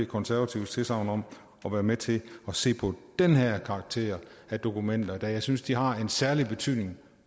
konservatives tilsagn om at være med til at se på den her karakter af dokumenter da jeg synes at de har en særlig betydning